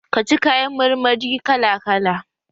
ka ci kayan mar mari kala kala!